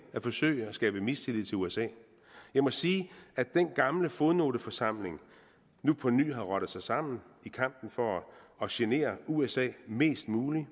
at forsøge at skabe mistillid til usa jeg må sige at den gamle fodnoteforsamling nu på ny har rottet sig sammen i kampen for at genere usa mest muligt